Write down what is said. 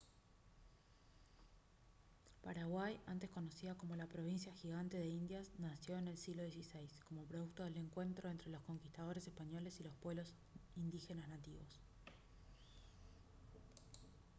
paraguay antes conocida como «la provincia gigante de indias» nació en el siglo xvi como producto del encuentro entre los conquistadores españoles y los pueblos indígenas nativos